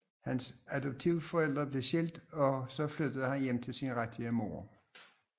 Hans adoptivforældre blev skilt og så flyttede han hjem til sin rigtige mor